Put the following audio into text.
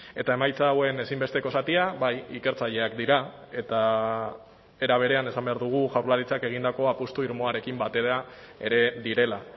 eta emaitza hauen ezinbesteko zatia bai ikertzaileak dira eta era berean esan behar dugu jaurlaritzak egindako apustu irmoarekin batera ere direla